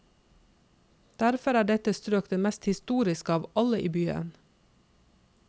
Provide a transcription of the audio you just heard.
Derfor er dette strøk det mest historiske av alle i byen.